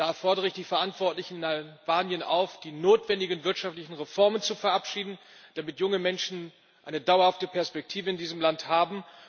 Da fordere ich die Verantwortlichen in Albanien auf, die notwendigen wirtschaftlichen Reformen zu verabschieden, damit junge Menschen eine dauerhafte Perspektive in diesem Land haben.